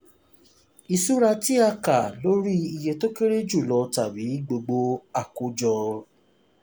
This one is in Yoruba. ìṣura tí a kà lórí iye tó kéré jù lọ tàbí gbogbo àkójọ.